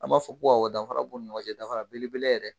An b'a fɔ ko awɔ danfara b u ni ɲɔgɔn cɛ danfara belebele yɛrɛ